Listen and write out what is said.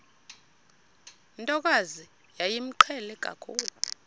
ntokazi yayimqhele kakhulu